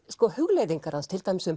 hugleiðingar hans til dæmis um